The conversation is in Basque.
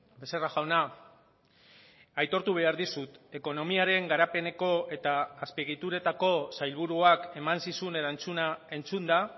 becerra jauna aitortu behar dizut ekonomiaren garapeneko eta azpiegituretako sailburuak eman zizun erantzuna entzunda